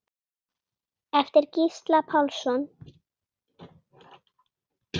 eftir Gísla Pálsson